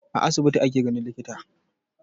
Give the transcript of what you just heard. A asibiti ake ganin likita.